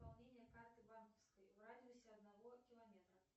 пополнение карты банковской в радиусе одного километра